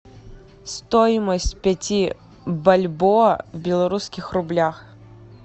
стоимость пяти бальбоа в белорусских рублях